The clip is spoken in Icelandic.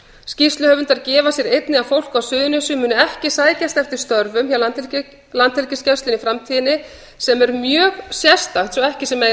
skýrsluhöfundar gefa sér einnig að fólk á suðurnesjum muni ekki sækjast eftir störfum hjá landhelgisgæslunni í framtíðinni sem er mjög sérstakt svo ekki sé meira